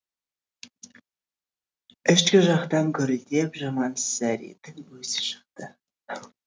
ішкі жақтан гүрілдеп жамансариннің өзі шықты